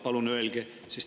Palun öelge.